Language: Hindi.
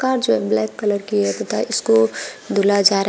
कार जो ब्लैक कलर की है तथा इसको धुला जा रहा है।